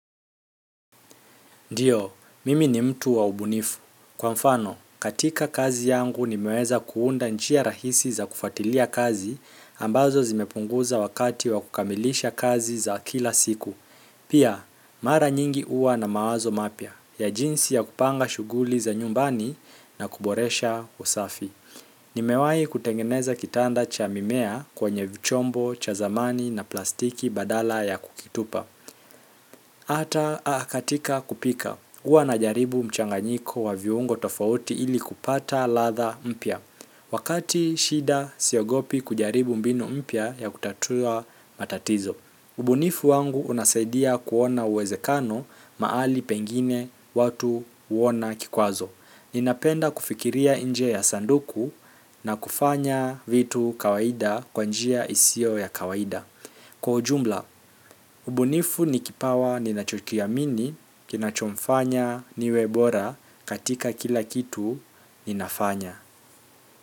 Ndiyo, mimi ni mtu wa ubunifu. Kwa mfano, katika kazi yangu nimeweza kuunda njia rahisi za kufuatilia kazi ambazo zimepunguza wakati wa kukamilisha kazi za kila siku. Pia, mara nyingi huwa na mawazo mapya ya jinsi ya kupanga shughuli za nyumbani na kuboresha usafi. Nimewahi kutengeneza kitanda cha mimea kwenye vichombo, cha zamani na plastiki badala ya kukitupa. Ata katika kupika. Huwa na jaribu mchanganyiko wa viungo tofauti ili kupata ladha mpya. Wakati shida siogopi kujaribu mbinu mpya ya kutatua matatizo ubunifu wangu unasaidia kuona uwezekano mahali pengine watu huona kikwazo. Ninapenda kufikiria nje ya sanduku na kufanya vitu kawaida kwa njia isio ya kawaida. Kwa ujumla, ubunifu ni kipawa ninachokiamini, kinachomfanya niwe bora katika kila kitu ninafanya.